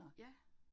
Ja